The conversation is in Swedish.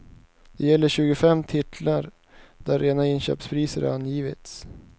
Det gäller tjugofem titlar där rena inköpspriser angivits.